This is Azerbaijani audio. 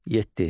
Yeddi.